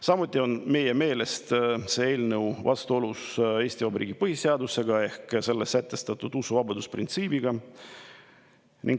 Samuti on see eelnõu meie meelest vastuolus Eesti Vabariigi põhiseadusega ehk selles sätestatud usuvabaduse printsiibiga.